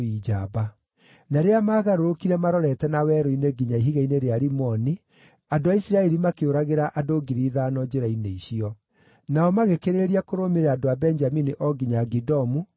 Na rĩrĩa maagarũrũkire marorete na werũ-inĩ nginya ihiga-inĩ rĩa Rimoni, andũ a Isiraeli makĩũragĩra andũ 5,000 njĩra-inĩ icio. Nao magĩkĩrĩrĩria kũrũmĩrĩra andũ a Benjamini o nginya Gidomu na makĩũraga 2,000.